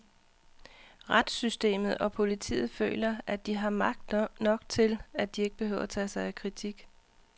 Retssystemet og politiet føler, at de har magt nok til, at de ikke behøver tage sig af kritik.